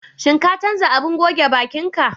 Shin ka canza abin goge baƙin ka?